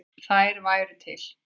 Þær væru til.